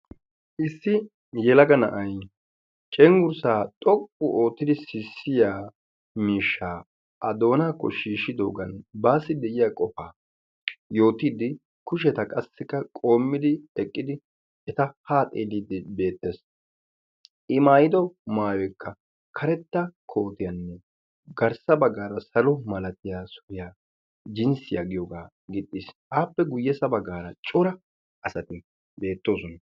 Issi yelaga na'ay cengurssaa xoqqu oottidi sissiyaa miishshaa a doonaakko shiishidoogan baassi de'iya qofaa yootiiddi kusheta qassikka qoommidi eqqidi eta haa xeelliiddi beettes. I maayido maayoyikka karetta kootiyaanne garssa baggaara salo malatiya suriya jinssiya giyogaa gixxis. Appe guyyessa baggaara cora asati beettoosona.